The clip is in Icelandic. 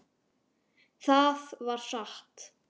Það var satt.